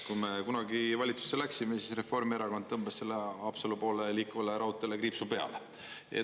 Kui me kunagi valitsusse läksime, siis Reformierakond tõmbas sellele Haapsalu poole liikuvale raudteele kriipsu peale.